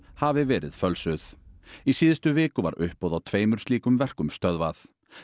hafi verið fölsuð í síðustu viku var uppboð á tveimur slíkum verkum stöðvað